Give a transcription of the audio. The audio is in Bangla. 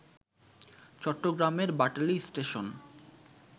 চট্টগ্রামের বাটালি স্টেশন